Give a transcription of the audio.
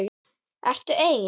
Ertu ein?